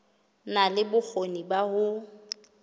na le bokgoni ba ho